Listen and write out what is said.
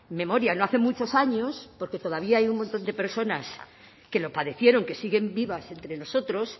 memoria no hace muchos años porque todavía hay un montón de personas que lo padecieron que siguen vivas entre nosotros